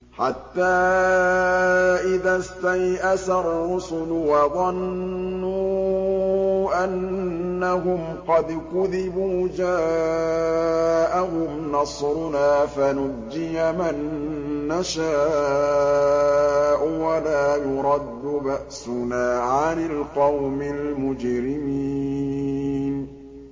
حَتَّىٰ إِذَا اسْتَيْأَسَ الرُّسُلُ وَظَنُّوا أَنَّهُمْ قَدْ كُذِبُوا جَاءَهُمْ نَصْرُنَا فَنُجِّيَ مَن نَّشَاءُ ۖ وَلَا يُرَدُّ بَأْسُنَا عَنِ الْقَوْمِ الْمُجْرِمِينَ